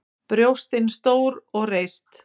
Brjóstin stór og reist.